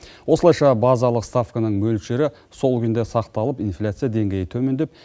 осылайша базалық ставканың мөлшері сол күйінде сақталып инфляция деңгейі төмендеп